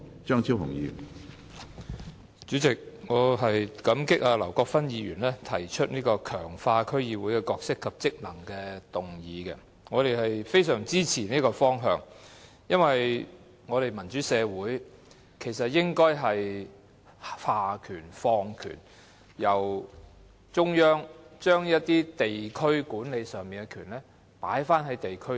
主席，我感激劉國勳議員提出"強化區議會的角色及職能"的議案，我們非常支持這個方向，因為民主社會應該下放權力，由中央把一些地區管理的權力放回在地區上。